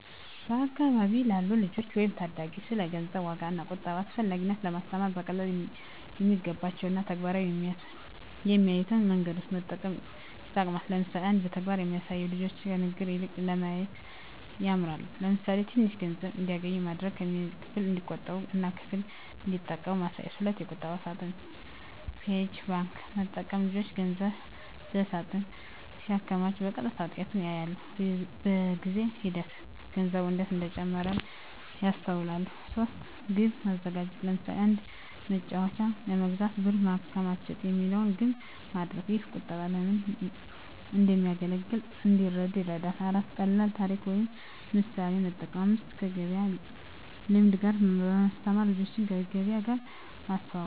በአካባቢ ላሉ ልጆች ወይም ታዳጊ ስለ ገንዘብ ዋጋ እና ቁጠባ አስፈላጊነት ለማስተማር በቀላሉ የሚገባቸው እና በተግባር የሚያዩትን መንገዶች መጠቀም ይጠቅማል። ለምሳሌ 1. በተግባር ማሳየት ልጆች ከንግግር ይልቅ በማየት ይማራሉ። ለምሳሌ፣ ትንሽ ገንዘብ እንዲያገኙ ማድረግ። ከዚያም ክፍል እንዲቆጥቡ እና ክፍል እንዲጠቀሙ ማሳየት። 2. የቁጠባ ሳጥን (Piggy bank) መጠቀም ልጆች ገንዘብ በሳጥን ሲያከማቹ በቀጥታ ውጤቱን ያያሉ። በጊዜ ሂደት ገንዘቡ እንዴት እንደሚጨምር ያስተውላሉ። 3. ግብ ማዘጋጀት ለምሳሌ፣ “አንድ መጫወቻ ለመግዛት ብር ማከማቸት” የሚለውን ግብ ማድረግ። ይህ ቁጠባ ለምን እንደሚያገለግል እንዲረዱ ይረዳል። 4. ቀላል ታሪክ ወይም ምሳሌ መጠቀም 5. ከገበያ ልምድ ጋር ማስተማር ልጆችን ከገበያ ጋር ማስተዋወቅ።